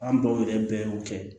An baw yɛrɛ bɛɛ y'o kɛ